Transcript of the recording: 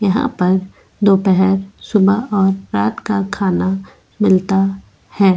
यहाँ पर दोपहर सुबह और रात का खाना मिलता है।